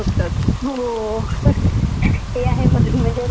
ते आहे मधून म्हणजे अशा लक्षात ठेवण्या सारख्या असतात काही काही तर..